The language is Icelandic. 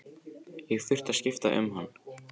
Ég þurfti að skipta um hann.